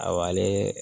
Awale